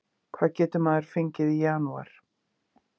Hvað getur maður fengið í janúar?